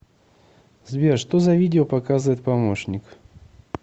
сбер что за видео показывает помощник